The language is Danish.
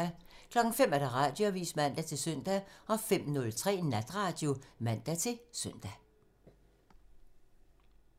05:00: Radioavisen (man-søn) 05:03: Natradio (man-søn)